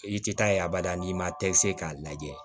I tɛ taa abada n'i ma tɛ se k'a lajɛ